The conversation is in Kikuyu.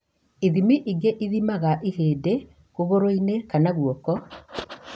Ithimi ingĩ ithimaga ihĩndĩ kũgũrũ-inĩ kana guoko